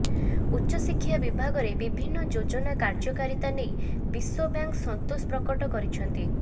ଉଚ୍ଚଶିକ୍ଷା ବିଭାଗରେ ବିଭିନ୍ନ ଯୋଜନା କାର୍ଯ୍ୟକାରିତା ନେଇ ବିଶ୍ୱବ୍ୟାଙ୍କ୍ ସନ୍ତୋଷ ପ୍ରକଟ କରିଛନ୍ତି